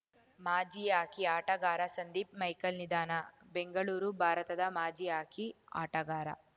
ಮಾಜಿ ಹಾಕಿ ಆಟಗಾರ ಸಂದೀಪ್‌ ಮೈಕಲ್‌ ನಿಧನ ಬೆಂಗಳೂರು ಭಾರತದ ಮಾಜಿ ಹಾಕಿ ಆಟಗಾರ